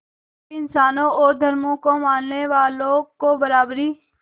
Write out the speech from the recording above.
सभी इंसानों और धर्मों को मानने वालों को बराबरी